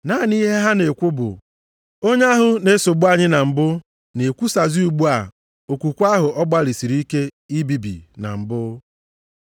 Naanị ihe ha na-ekwu bụ, “Onye ahụ na-esogbu anyị na mbụ na-ekwusazi ugbu a okwukwe ahụ ọ gbalịsịrị ike ibibi na mbụ.”